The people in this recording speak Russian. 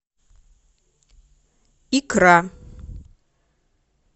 икра